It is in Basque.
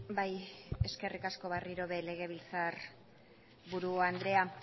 bai eskerrik asko berriro ere legebiltzarburu andrea